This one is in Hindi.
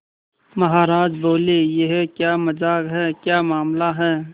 महाराज बोले यह क्या मजाक है क्या मामला है